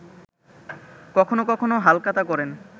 কখনো কখনো হালখাতা করেন